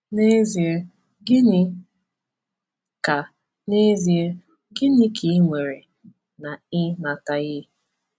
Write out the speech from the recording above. N’ezie, gịnị ka N’ezie, gịnị ka i nwere na ị nataghị?